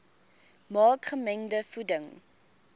maak gemengde voeding